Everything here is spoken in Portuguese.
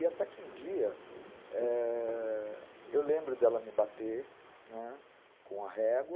E até que um dia...eh... Eu lembro dela me bater com a régua.